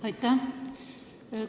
Aitäh!